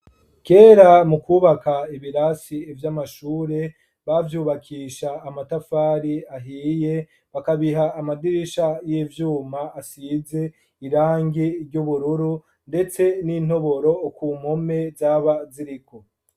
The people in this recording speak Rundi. Kera mukwubaka ibirasi vy'amashure bavyubakisha amatafari ahiye, bakabiha amadirisha y'ivyuma, asize irangi ry'ubururu, ndetse nintoboro zaba ziriko.